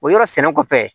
O yɔrɔ sɛnɛ kɔfɛ